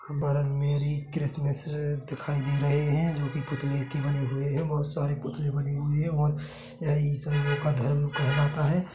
बरन merry Christmas दिखाई दे रहे हैजो कि पुतले के बने हुए है बहोत सारे पुतले बने हुए है और यह ईसाइयो का धर्म कहलाता है।